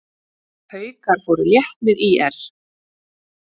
Haukar fóru létt með ÍR